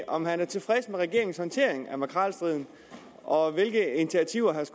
om han er tilfreds med regeringens håndtering af makrelstriden og hvilke initiativer herre